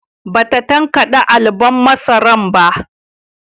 Ba ta tankade alubon masaran ba